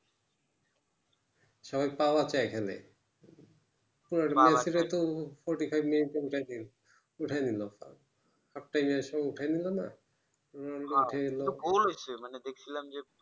সবাই পাওয়া চাই এখানে পুরো তো প্রতিটা নিয়েও game খেলে উঠায় নিলো উঠায় নিলো না